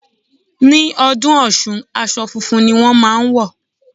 Ní ọdún Ọ̀ṣun, aṣọ funfun ni wón máa ń wọ̀.